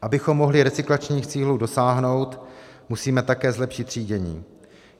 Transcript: Abychom mohli recyklačních cílů dosáhnout, musíme také zlepšit třídění.